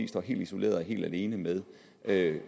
står helt isoleret og helt alene med det